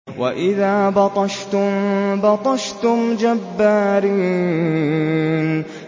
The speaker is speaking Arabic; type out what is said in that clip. وَإِذَا بَطَشْتُم بَطَشْتُمْ جَبَّارِينَ